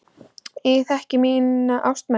Ég þekki mína ástmenn.